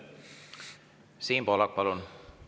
Siim Pohlak, palun!